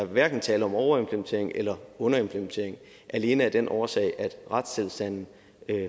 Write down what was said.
hverken tale om overimplementering eller underimplementering alene af den årsag at retstilstanden